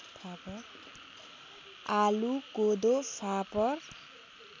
आलु कोदो फापर